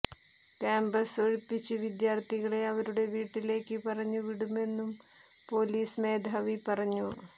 campus ഒഴിപ്പിച്ച് വിദ്യാര്ത്ഥികളെ അവരുടെ വീട്ടിലേക്ക് പറഞ്ഞു വിടുമെന്നും പൊലീസ് മേധാവി പറഞ്ഞു